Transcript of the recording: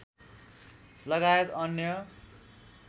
लगायत अन्य